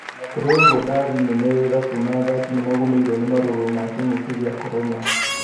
Ona kũrĩ ũguo ndari nene ya irabu na athaki nĩmagũmĩirwo nĩ marũrũ ma kĩng'ũki gĩa korona.